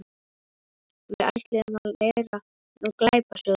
Við ætluðum að læra um glæpasögur.